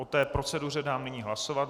O té proceduře dám nyní hlasovat.